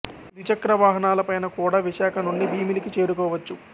ద్విచక్రవాహనాల పైన కూడా విశాఖ నుండి భీమిలికి చేరు కొవచ్చు